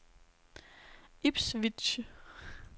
Ipswich